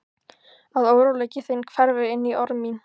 Að óróleiki þinn hverfi inní orð mín.